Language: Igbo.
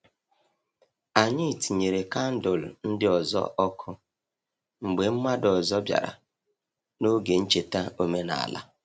Anyị tinyere kandụl ndị ọzọ ọkụ mgbe mmadụ ọzọ bịara n’oge ncheta omenala.